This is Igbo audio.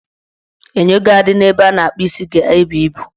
Enyo ga-adị n' ebe a na-akpụ isi ga-ebu ibu